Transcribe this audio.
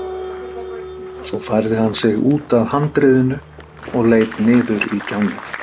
Svo færði hann sig út að handriðinu og leit niður í gjána.